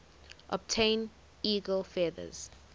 obtain eagle feathers